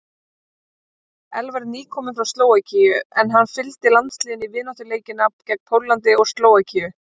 Elvar er nýkominn frá Slóvakíu en hann fylgdi landsliðinu í vináttuleikina gegn Póllandi og Slóvakíu.